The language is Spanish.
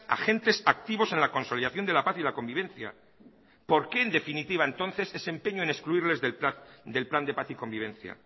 agentes activos a la consolidación de la paz y la convivencia por qué en definitiva entonces ese empeño en excluirles del plan de paz y convivencia